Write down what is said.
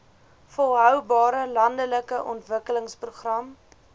volhoubare landelike ontwikkelingsprogram